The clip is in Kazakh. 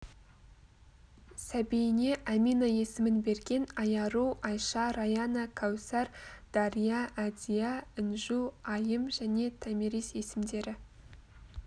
сәбиіне әмина есімін берген айару айша раяна кәусар дария әдия інжу айым және томирис есімдері